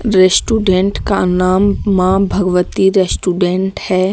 Restaurant का नाम Maa Bhagwati restaurant है।